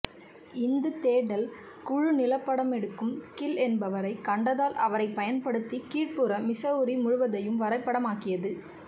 இந்த தேடல் குழு நிலபடமெடுக்கும் கில் என்பரை கண்டதால் அவரை பயன்படுத்தி கீழ்புற மிசௌரி முழுவதுதையும் வரைபடமாக்கியது